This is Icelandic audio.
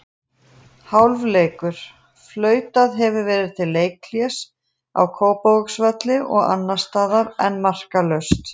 Hálfleikur: Flautað hefur verið til leikhlés á Kópavogsvelli og staðan enn markalaus.